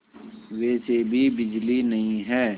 वैसे भी बिजली नहीं है